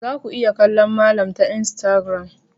Za ku iya kallon malam ta instagram.